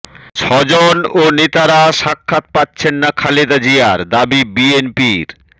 স্বজন ও নেতারা সাক্ষাৎ পাচ্ছেন না খালেদা জিয়ার দাবি বিএনপির